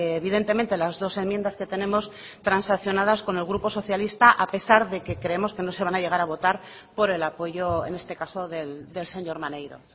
evidentemente las dos enmiendas que tenemos transaccionadas con el grupo socialista a pesar de que creemos que no se van a llegar a votar por el apoyo en este caso del señor maneiro